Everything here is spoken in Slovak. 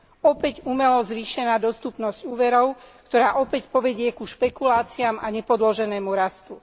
Opäť umelo zvýšená dostupnosť úverov, ktorá opäť povedie k špekuláciám a nepodloženému rastu.